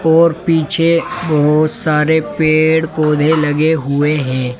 और पीछे बहुत सारे पेड़ पौधे लगे हुए हैं।